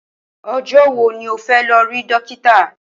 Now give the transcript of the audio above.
O̩jó̩ wo ni o fé̩ lo̩ rí dókítà?